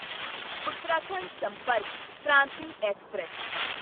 Uttarakhand Sampark Kranti express